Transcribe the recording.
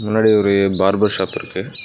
முன்னாடி ஒரு barber shop இருக்கு.